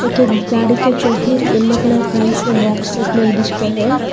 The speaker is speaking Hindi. के गाड़ी के येलो कलर पेंट से बॉक्स टाइप में को है।